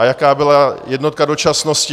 A jaká byla jednotka dočasnosti?